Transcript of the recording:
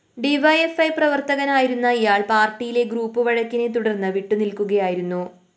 D Y F I പ്രവര്‍ത്തകനായിരുന്ന ഇയാള്‍ പാര്‍ട്ടിയിലെ ഗ്രൂപ്പ്‌ വഴക്കിനെ തുടര്‍ന്ന് വിട്ടുനില്‍ക്കുകയായിരുന്നു